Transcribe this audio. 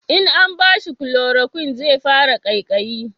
in an bashi kuloroquin zai fara kaikayi